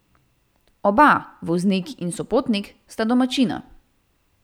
Oba, voznik in sopotnik, sta domačina.